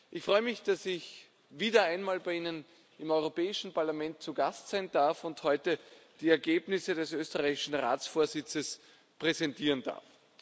Ich freue mich, dass ich wieder einmal bei Ihnen im Europäischen Parlament zu Gast sein darf und heute die Ergebnisse des österreichischen Ratsvorsitzes präsentieren darf.